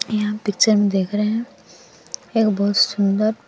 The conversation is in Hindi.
यहां पीछे हम देख रहे हैं एक बहुत सुंदर--